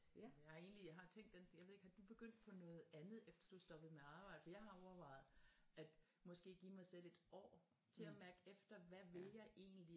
Jeg har egentligt jeg har tænkt den jeg ved ikke har du begyndt på noget andet efter du er stoppet med at arbejde for jeg har overvejet at måske give mig selv et år til at mærke efter hvad vil jeg egentlig